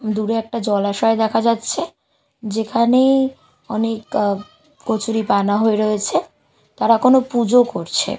দূরে একটা জলাশয় দেখা যাচ্ছে যেখানেই অনেক আঃ কচুরিপানা হয়ে রয়েছে তারা কোন পুজো করছে।